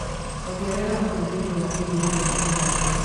Ongerera ũhũthĩri wa iriia rĩa kĩganda